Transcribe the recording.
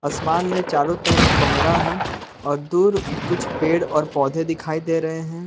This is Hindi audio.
आसमान में चारों तरफ कोहरा है और दूर कुछ पेड़ और पौधे दिखई दे रहे हैं।